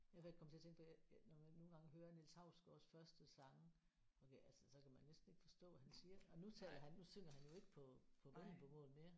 Ja for jeg kom til at tænke på jeg når man nogle gange hører Niels Hausgaards første sange okay altså så kan man næsten ikke forstå hvad han siger og nu taler han nu synger han jo ikke på på vendelbomål mere